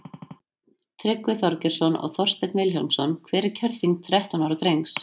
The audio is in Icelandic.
tryggvi þorgeirsson og þorsteinn vilhjálmsson hver er kjörþyngd þrettán ára drengs